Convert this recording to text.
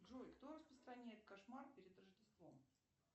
джой кто распространяет кошмар перед рождеством